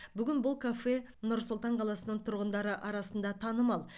бүгін бұл кафе нұр сұлтан қаласының тұрғындары арасында танымал